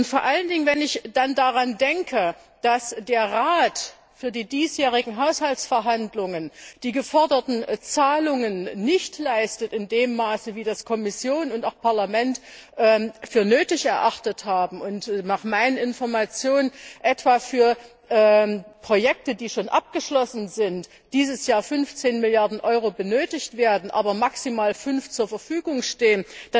Vor allen Dingen, wenn ich daran denke, dass der Rat für die diesjährigen Haushaltsverhandlungen die geforderten Zahlungen nicht in dem Maß leistet, wie das Kommission und Parlament für nötig erachtet haben, und nach meinen Informationen etwa für Projekte, die schon abgeschlossen sind, dieses Jahr 15 Milliarden Euro benötigt werden, aber maximal 5 zur Verfügung stehen.